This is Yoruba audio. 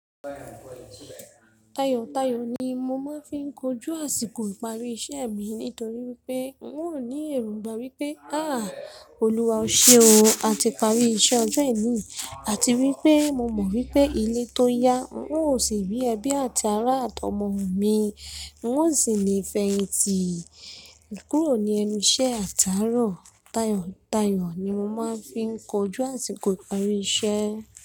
Tayò, tayò ni mo máa ń fi kojú àsìkò ìparí iṣẹ́ mi nítorí pé ń ò ní èròngbà wípé, àá Oluwa o ṣe o, a ti parí iṣẹ́ ọjọ́ ení. Àti wípé mo mọ̀ wípé ilé tó ya, ń ò sì ri ẹbí àti ará àt'omọ mi. N o sì lè fẹ̀yìntì kúrò ní ẹnu iṣẹ́ àtààrọ̀. Tayò, tayò ni mo máa ń fi n kojú àsìkò ìparí iṣẹ́.